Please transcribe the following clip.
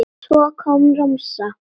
Svo kom romsan.